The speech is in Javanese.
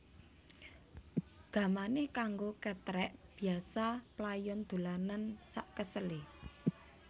Gamane kanggo ketrek biyasa playon dolanan sakesele